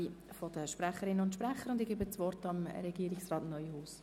Ich erteile das Wort Regierungsrat Neuhaus.